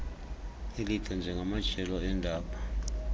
elide ngamajelo eendaba